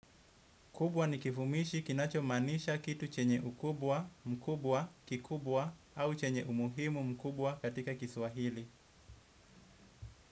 Kubwa ni kivumishi kinachomaanisha kitu chenye ukubwa, mkubwa, kikubwa au chenye umuhimu mkubwa katika kiswahili.